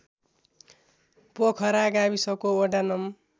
पोखरा गाविसको वडा नं